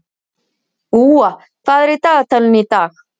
Úa, hvað er í dagatalinu í dag?